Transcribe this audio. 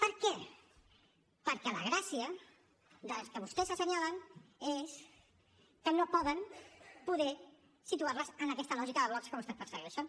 per què perquè la gràcia dels que vostès assenyalen és que no poden poder situar les en aquesta lògica de blocs que vostès persegueixen